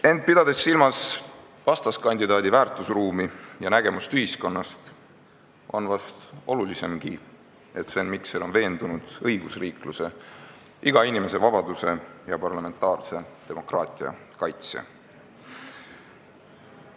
Ent pidades silmas vastaskandidaadi väärtusruumi ja nägemust ühiskonnast, on vist olulisemgi, et Sven Mikser on veendunud õigusriikluse, iga inimese vabaduse ja parlamentaarse demokraatia kaitsja.